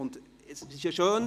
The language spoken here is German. Es ist ja schön: